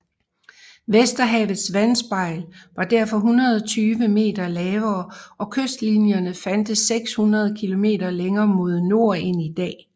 Vesterhavets vandspejl var derfor 120 meter lavere og kystlinjerne fandtes 600 km længere mod nord end i dag